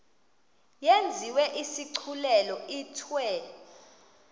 yenziwe isigculelo ithiwe